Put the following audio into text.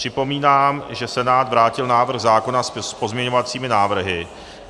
Připomínám, že Senát vrátil návrh zákona s pozměňovacími návrhy.